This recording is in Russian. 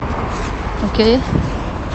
окей